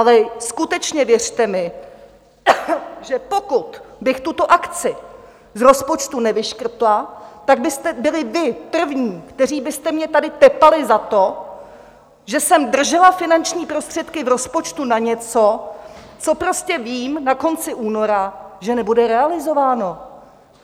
Ale skutečně věřte mi, že pokud bych tuto akci z rozpočtu nevyškrtla, tak byste byli vy první, kteří byste mě tady tepali za to, že jsem držela finanční prostředky v rozpočtu na něco, co prostě vím na konci února, že nebude realizováno.